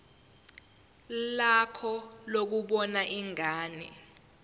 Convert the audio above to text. lakho lokubona ingane